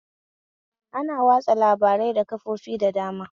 Ana watsa labarai da kafofi da dama